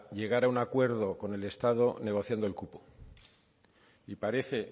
llegar a un acuerdo con el estado negociando el cupo y parece